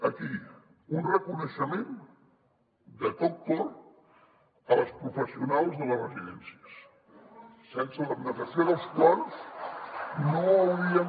aquí un reconeixement de tot cor a les professionals de les residències sense l’abnegació de les quals no hauríem